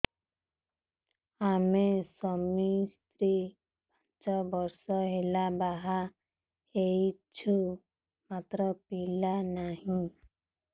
ଆମେ ସ୍ୱାମୀ ସ୍ତ୍ରୀ ପାଞ୍ଚ ବର୍ଷ ହେଲା ବାହା ହେଇଛୁ ମାତ୍ର ପିଲା ନାହିଁ